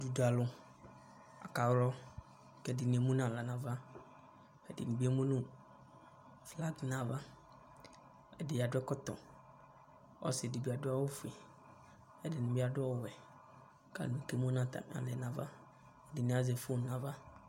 Duda alʋ akalɔ kʋ ɛdɩnɩ emu nʋ aɣla nʋ ava kʋ ɛdɩnɩ bɩ emu nʋ skant nʋ ava Ɛdɩ adʋ ɛkɔtɔ Ɔsɩ dɩ bɩ adʋ awʋfue Ɛdɩnɩ bɩ adʋ ɔwɛ kʋ atanɩ kemu nʋ atamɩ aɣla yɛ nʋ ava Ɛdɩnɩ azɛ fon nʋ ava